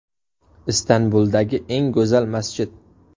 Istanbuldagi eng go‘zal masjid .